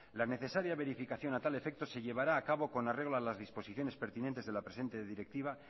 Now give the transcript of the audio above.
la necesaria verificación a tal efecto se llevará a cabo con arreglo a las disposiciones pertinentes de la presente directiva